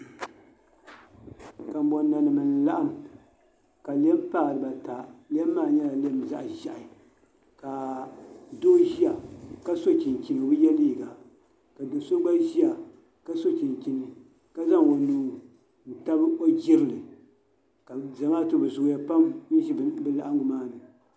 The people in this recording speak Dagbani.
Kanbon nanim n laɣam ka lɛm paai dibaata lɛm maa nyɛla zaɣ ʒiɛhi ka doo ʒiya ka so chinchini o bi yɛ liiga ka do so gba ʒiya ka so chinchini ka zaŋ o nuu n tabi o jirili ka zamaatu bi zooya pam n ʒi bi laɣangu maa ni